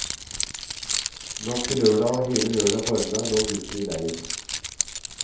Natt til lørdag og hele lørdag formiddag lå gutten i leir.